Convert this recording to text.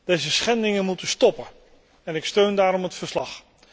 Deze schendingen moeten stoppen en ik steun daarom het verslag.